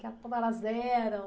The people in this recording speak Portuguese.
Que ela, como elas eram?